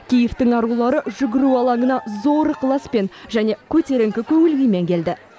киевтің арулары жүгіру алаңына зор ықыласпен және көтеріңкі көңіл күймен келді